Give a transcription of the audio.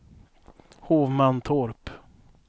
Hovmantorp